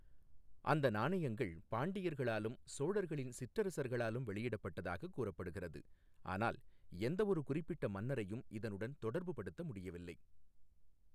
அந்த நாணயங்கள் பாண்டியர்களாலும் சோழர்களின் சிற்றரசர்களாலும் வெளியிடப்பட்டதாக கூறப்படுகிறது, ஆனால் எந்த ஒரு குறிப்பிட்ட மன்னரையும் இதனுடன் தொடர்புபடுத்த முடியவில்லை.